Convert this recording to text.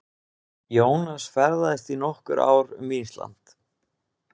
Jónas ferðaðist í nokkur ár um Ísland.